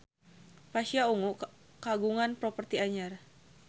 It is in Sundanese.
Pasha Ungu kagungan properti anyar